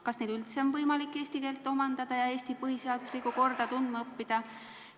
Kas neil üldse on võimalik eesti keelt omandada ja Eesti põhiseaduslikku korda tundma õppida?